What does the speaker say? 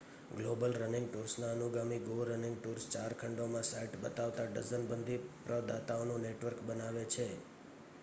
global running ટૂર્સના અનુગામી go running tours ચાર ખંડોમાં સાઇટ બતાવતા ડઝનબંધી પ્રદાતાઓનું નેટવર્ક બનાવે છે